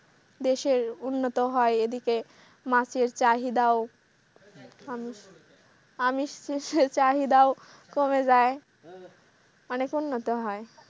দেশের উন্নত হয় এদিকে মাছের চাহিদাও আমিস পিসের চাহিদাও কমে যাই অনেক উন্নত হয়।